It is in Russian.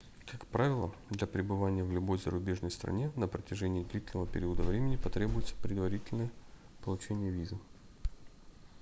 как правило для пребывания в любой зарубежной стране на протяжении длительного периода времени потребуется предварительное получение визы